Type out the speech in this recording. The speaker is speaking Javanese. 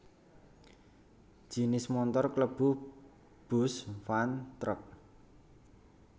Jinis montor klebu bus van truk